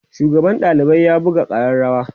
shugaban ɗalibai ya buga arrarawa